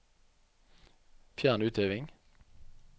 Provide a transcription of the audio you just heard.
Fjern utheving